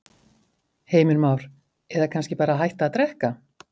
Heimir Már: Eða kannski bara hætta að drekka?